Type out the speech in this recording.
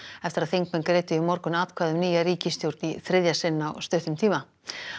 eftir að þingmenn greiddu í morgun atkvæði um nýja ríkisstjórn í þriðja sinn á stuttum tíma